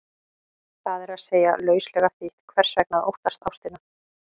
Það er að segja, lauslega þýtt, hvers vegna að óttast ástina?